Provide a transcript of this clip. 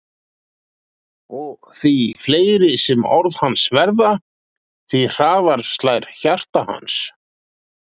Og því fleiri sem orð hans verða því hraðara slær hjarta hans.